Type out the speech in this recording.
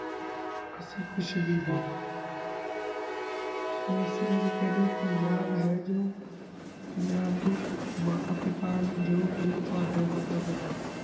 ਅਸੀਂ ਕੁਛ ਵੀ ਨਾਈ ਤਾ ਇਸੇ ਕਰ ਕੇ ਕਾਨੀ ਆ ਪੰਜਾਬ ਹੈ ਜੋ ਪੰਜਾਬ ਦੇ ਮਾਤਾ ਪਿਤਾ ਹੁਣ ਜੋ ਵੀ ਆ ਤਾਵਾਡੀ ਮਾਤਾ ਪਿਤਾ ਹੁਣ